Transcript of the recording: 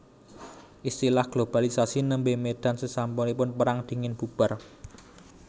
Istilah globalisasi némbè médal sésampunipun Pérang Dingin bubar